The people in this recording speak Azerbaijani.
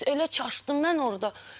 Elə çaşdım mən orda.